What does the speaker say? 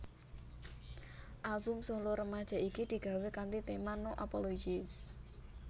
Album solo remaja iki digawé kanthi tema No Apologies